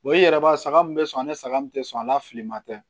i yɛrɛ b'a saga min bɛ sɔn ni saga min tɛ sɔn a la fili ma tɛ